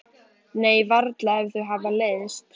Nei, varla ef þau hafa leiðst.